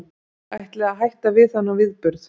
Ætlið að hætta við þennan viðburð?